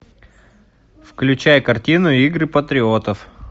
включай картину игры патриотов